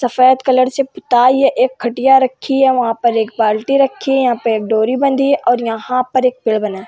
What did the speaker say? सफ़ेद कलर से पुताई है एक खटिया रखी है वाहं पर एक बालटी रखी है यहाँ पे एक डोरी बंधी है और यहाँ पे एक पेड़ बना है।